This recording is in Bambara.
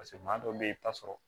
Paseke maa dɔw be yen i bi taa sɔrɔ